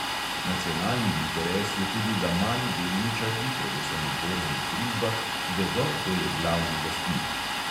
Nacionalni interes je tudi, da mali delničarji predvsem v borznih družbah vedo, kdo je glavni lastnik.